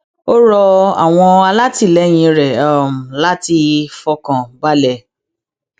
ó rọ àwọn alátìlẹyìn rẹ láti fọkàn balẹ